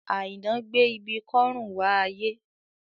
Àìná gbé ibi kọ́rùn wá ayé